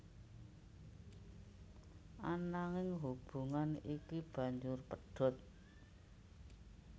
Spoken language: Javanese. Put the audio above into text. Ananging hubungan iki banjur pedhot